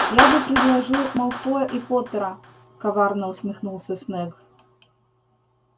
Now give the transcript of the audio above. я бы предложил малфоя и поттера коварно усмехнулся снегг